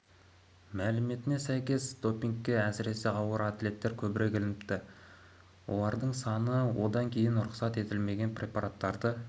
іоі мәліметіне сәйкес допингке әсіресе ауыр атлеттер көбірек ілініпті олардың саны одан кейін рұқсат етілмеген препараттарды